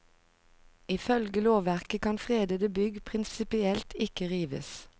Ifølge lovverket kan fredede bygg prinsipielt ikke rives.